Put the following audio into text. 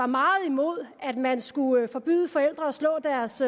meget imod at man skulle forbyde forældre at slå deres